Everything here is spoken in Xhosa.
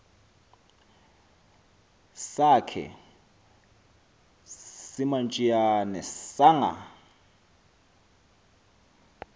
sakhe simantshiyane sanga